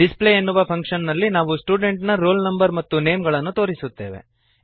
display ಎನ್ನುವ function ನಲ್ಲಿ ನಾವು ಸ್ಟೂಡೆಂಟ್ ನ roll no ಮತ್ತು ನೇಮ್ ಗಳನ್ನು ತೋರಿಸುತ್ತೇವೆ